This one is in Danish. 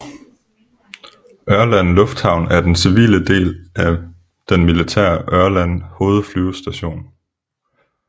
Ørland Lufthavn er den civile del af den militære Ørland Hovedflyvestation